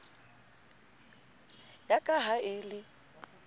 ya ka ha e le